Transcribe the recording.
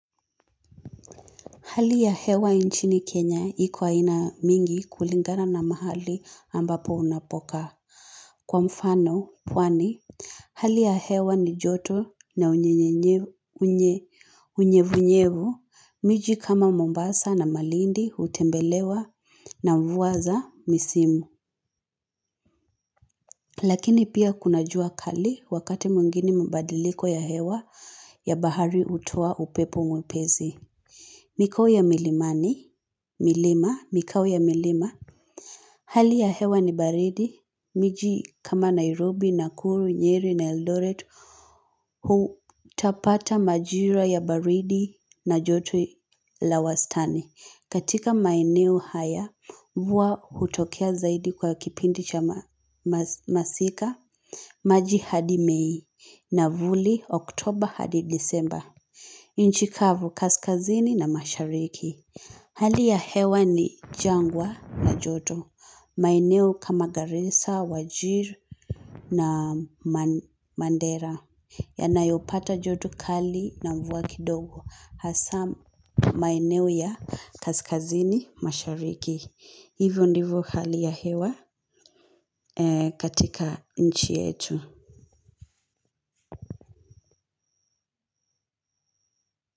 Hali ya hewa nchini Kenya iko aina mingi kulingana na mahali ambapo unapokaa. Kwa mfano, pwani, hali ya hewa ni joto na unyevunyevu, miji kama mombasa na malindi hutembelewa na mvua za misimu. Lakini pia kuna jua kali wakati mwingini mabadiliko ya hewa ya bahari hutoa upepo mwepesi. Mikoo ya milimani, milima, mikao ya milima, hali ya hewa ni baridi, miji kama Nairobi, Nakuru, Nyeri, na eldoret, hutapata majira ya baridi na joto la wastani. Katika maeneo haya, mvua hutokea zaidi kwa kipindi cha masika, machi hadi mei, navuli, oktober, hadi disemba. Nchi kavu kaskazini na mashariki Hali ya hewa ni jangwa na joto maeneo kama garissa, wajir na mandera Yanayopata joto kali na mvua kidogo Hasaa maeneo ya kaskazini mashariki Hivyo ndivyo hali ya hewa katika nchi yetu.